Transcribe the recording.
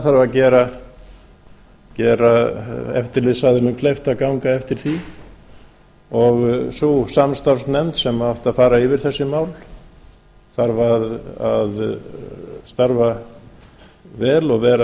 það þarf að gera eftirlitsaðilum kleift að ganga eftir því sú samstarfsnefnd sem átti að fara yfir þessi mál þarf að starfa vel og vera